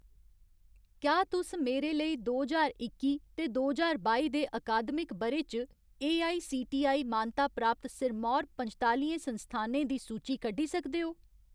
क्या तुस मेरे लेई दो ज्हार इक्की ते दो ज्हार बाई दे अकादमिक ब'रे च एआईसीटीई मानता प्राप्त सिरमौर पंजतालिएं संस्थानें दी सूची कड्ढी सकदे ओ ?